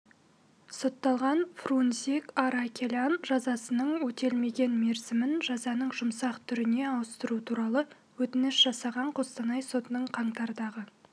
сотталған фрунзик аракелян жазасының өтелмеген мерзімін жазаның жұмсақ түріне ауыстыру туралы өтініш жасаған қостанай сотының қаңтардағы